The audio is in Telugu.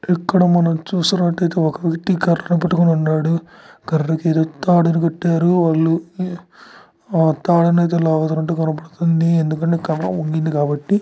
ఇక్కడ మనం చూసినట్టయిటే ఒక వ్యక్తి కర్రను పట్టుకొని ఉన్నాడు. కర్రకు తాడును కట్టారు వాళ్ళు ఆ తాడునైతే లాగుతున్నట్టు కనబడుబతుంది. ఎందుకంటే కర్ర ఊగింది కాబట్టి.